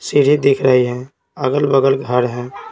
सीढ़ी दिख रही है अगल-बगल घर हैं।